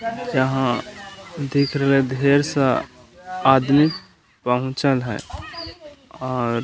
यहाँ दिख रहलय ढेर सा आदमी पहुँचल है और --